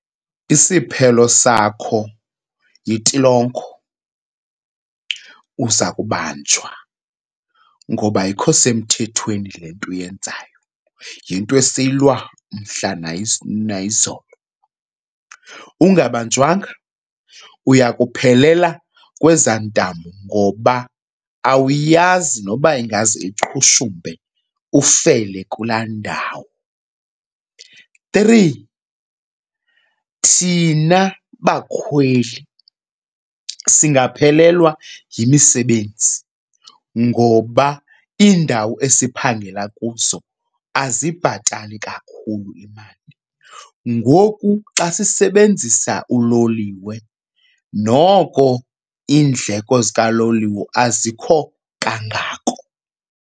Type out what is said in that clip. Isiphelo sakho yintilongo. Uza kubanjwa ngoba ayikho semthethweni le nto uyenzayo, yinto esiyilwa mhla nayizolo. Ungabanjwanga uya kuphelela kwezaa ntambo ngoba awuyazi noba ingaze iqhushumbe ufele kulaa ndawo. Three, thina bakhweli singaphelelwa yimisebenzi ngoba iindawo esiphangela kuzo azibhatali kakhulu imali ngoku xa sisebenzisa uloliwe, noko iindleko zikaloliwe azikho kangako.